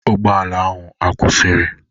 Ụgbọala ahụ akwụsịrị?